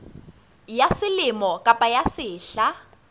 ya selemo kapa ya sehla